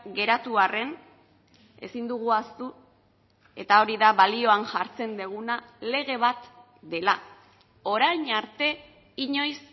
geratu arren ezin dugu ahaztu eta hori da balioan jartzen duguna lege bat dela orain arte inoiz